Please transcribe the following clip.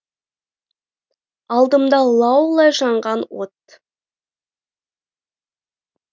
алдымда лаулай жанған от